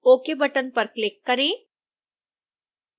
ok button पर click करें